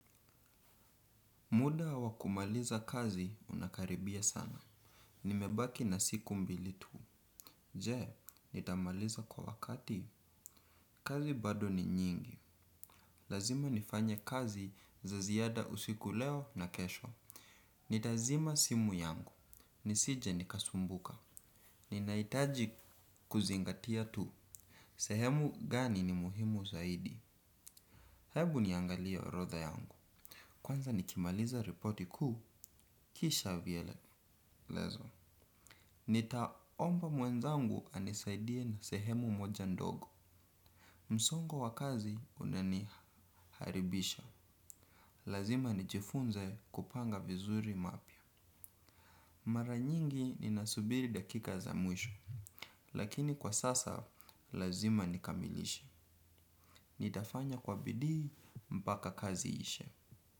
Muda wa kumaliza kazi unakaribia sana. Nimebaki na siku mbili tu. Je, nitamaliza kwa wakati? Kazi bado ni nyingi. Lazima nifanye kazi za ziada usiku leo na kesho. Nitazima simu yangu. Nisije nikasumbuka, ninahitaji kuzingatia tu. Sehemu gani ni muhimu zaidi. Hebu niangalie orodha yangu. Kwanza nikimaliza ripoti kuu kisha vielelezo nitaomba mwenzangu anisaidie na sehemu moja ndogo. Msongo wa kazi unaniharibisha. Lazima nijifunze kupanga vizuri mapya. Mara nyingi ninasubiri dakika za mwisho. Lakini kwa sasa lazima nikamilishe. Nitafanya kwa bidii mpaka kazi iishe.